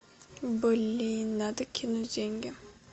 блин надо кинуть деньги